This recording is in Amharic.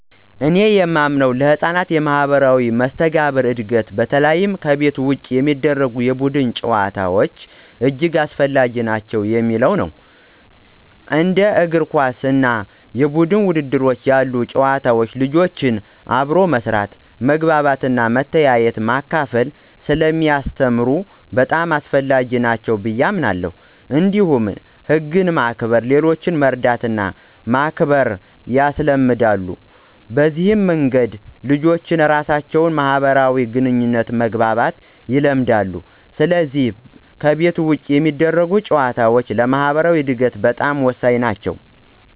እኔ የማምነው ለሕፃናት የማኅበራዊ መስተጋብር እድገት በተለይ ከቤት ውጭ የሚደረጉ የቡድን ጨዋታዎች እጅግ አስፈላጊ ናቸው የሚለው ነው። እንደ እግር ኳስ እና የቡድን ውድድሮች ያሉ ጨዋታዎች ልጆችን አብሮ መስራት፣ መግባባት፣ መተያየትና መካፈል ስለሚያስተምሩ በጣም አስፈላጊ ናቸው ብየ አምናለሁ። እንዲሁም ህግን ማክበር፣ ሌሎችን መርዳትና ማክበር ያስለምዳሉ። በዚህ መንገድ ልጆች ራሳቸውን በማህበራዊ ግንኙነት መግባባት ይለምዳሉ፣ ስለዚህ ከቤት ውጭ የሚደረጉ ጨዋታዎች ለማኅበራዊ እድገታቸው በጣም ወሳኝ ናቸው።